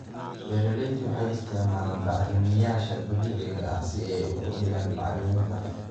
Beeraleydu waxay isticmaalaan bacrimiyeyaasha dabiiciga ah si ay u kordhiyaan bacriminta.